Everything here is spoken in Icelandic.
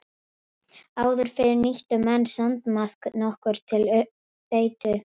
Áður fyrr nýttu menn sandmaðk nokkuð til beitu.